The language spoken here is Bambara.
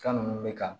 Fɛn ninnu bɛ kan